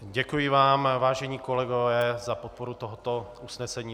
Děkuji vám, vážení kolegové, za podporu tohoto usnesení.